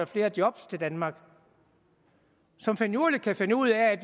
flere job til danmark og som finurligt kan finde ud af